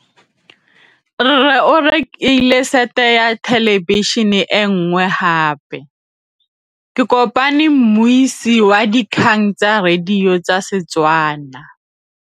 Rre o rekile sete ya thêlêbišênê e nngwe gape. Ke kopane mmuisi w dikgang tsa radio tsa Setswana.